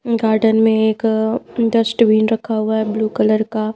garden में एक अ डस्टबिन रखा हुआ है ब्लू कलर का--